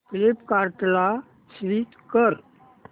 फ्लिपकार्टं ला स्विच कर